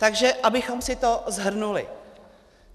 Takže abychom si to shrnuli.